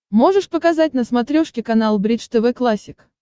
можешь показать на смотрешке канал бридж тв классик